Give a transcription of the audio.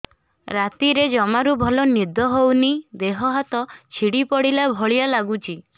ରାତିରେ ଜମାରୁ ଭଲ ନିଦ ହଉନି ଦେହ ହାତ ଛିଡି ପଡିଲା ଭଳିଆ ଲାଗୁଚି